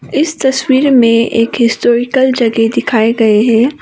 इस तस्वीर में एक हिस्टोरिकल जगह दिखाए गए हैं।